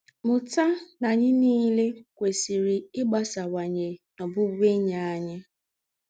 Mụ́tà na ányị̀ niilè kwèsịrị ígbásáwányè n’ọ̀bụ̀bụ̀én̄yi ányị̀.